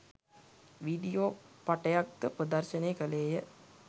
video පටයක් ද ප්‍රදර්ශනය කළේය